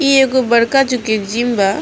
इ एगो बड़का जोकि जिम बा।